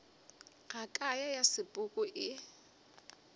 ya ka ya sepoko e